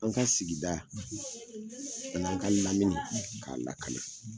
An ka sigida, , ani an ka lamini, , k'a lakana.